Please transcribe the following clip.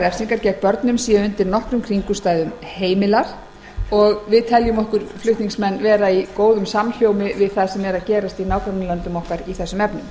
refsingar gegn börnum séu undir engum kringumstæðum heimilar við flutningsmenn teljum okkur með frumvarpinu vera í samhljómi við það sem er að gerast í nágrannalöndum okkar í þessum efnum